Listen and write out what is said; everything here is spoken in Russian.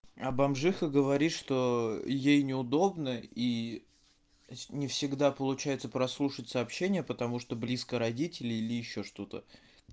а бомжиха говорит что ей неудобно и не всегда получается прослушать сообщения потому что близко родители или ещё что-то